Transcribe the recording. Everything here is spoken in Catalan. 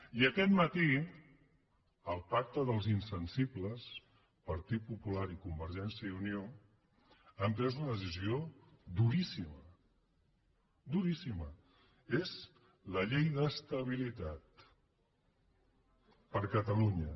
i aquest matí el pacte dels insensibles partit popular i convergència i unió han pres una decisió duríssima duríssima és la llei d’estabilitat per a catalunya